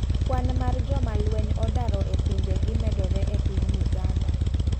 Kwan mar joma lweny odaro e pinje gi medore epiny Uganda.